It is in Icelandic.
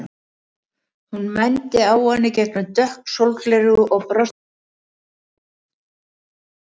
Hún mændi á hann í gegnum dökk sólgleraugu og brosti breiðu brosi.